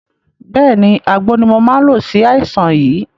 Bẹ́ẹ̀ni, àgbo ni mò máa ń lo sí àìsàn yìí